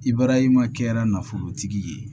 Ibarahima kɛra nafolotigi ye